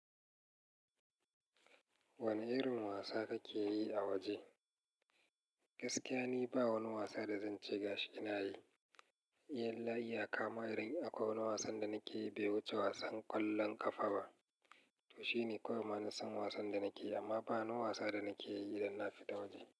Wane irin wasa kake yi a waje? Gaskiya ni ba wani wasa da zan ce gashi ina yi. Iyalla iyaka ma idan akwai wani wasan da nake yi bai wuce wasan kwallon kafa ba. To shine kawai manasan wasan da nake yi amma ba wani wasa da nake yi idan na fita waje.